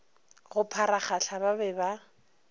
go pharagahla ba be ba